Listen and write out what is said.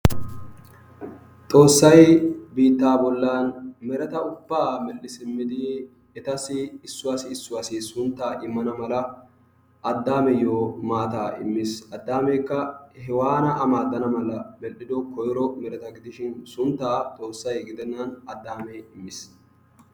Xoossay biitta bollan mereta ubba medhdhi simmidi etassi issuwassi issuwasi suntta immana malaa Addameyyo maata immiis. Addamekka Hewanna a maaddana malaa medhdhido koyro mereta gidishin sunttay Xoossay gidennan Addamee immiis.